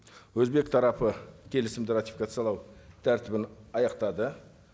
өзбек тарапы келісімді ратификациялау тәртібін аяқтады